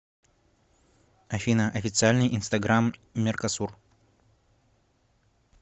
афина официальный инстаграм меркосур